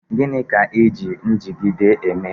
Gịnị ka eji njigide eme?